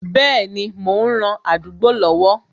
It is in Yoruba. Bẹẹni, mo ń ran àdúgbò lọ́wọ́